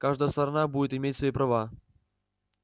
каждая сторона будет иметь свои права